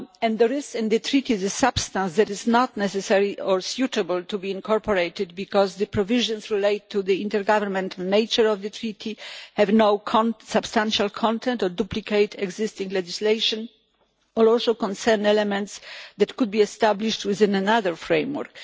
There is in the Treaty the substance that is not necessary or suitable to be incorporated, because the provisions relate to the intergovernmental nature of the Treaty and have no substantial content or duplicate existing legislation but also concern elements that could be established within another framework.